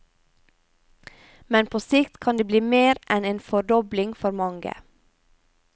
Men på sikt kan det bli mer enn en fordobling for mange.